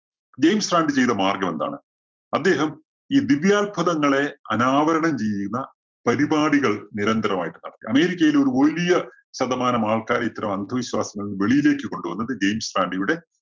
James Randi ചെയ്ത മാർഗം എന്താണ്? അദ്ദേഹം ഈ ദിവ്യ അത്ഭുതങ്ങളെ അനാവരണം ചെയ്യുന്ന പരിപാടികൾ നിരന്തരം ആയിട്ട് നടത്തി. അമേരിക്കയിലെ ഒരു വലിയ ശതമാനം ആൾക്കാരെ ഇത്തരം അന്ധവിശ്വാസങ്ങളിൽ നിന്ന് വെളിയിലേക്ക് കൊണ്ടുവന്നത് ജെയിംസ് റാന്‍ഡിയുടെ